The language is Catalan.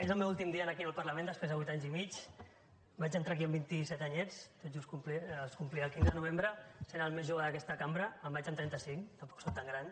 és el meu últim dia aquí al parlament després de vuit anys i mig vaig entrar aquí amb vint i set anyets els complia el quinze de novembre sent el més jove d’aquesta cambra i me’n vaig amb trenta cinc tampoc sóc tan gran